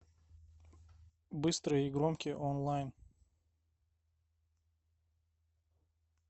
быстрые и громкие онлайн